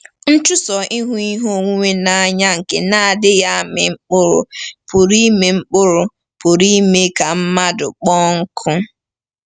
Nchụso ịhụ ihe onwunwe n’anya nke na-adịghị amị mkpụrụ, pụrụ ime mkpụrụ, pụrụ ime ka mmadụ “kpọọ nkụ.”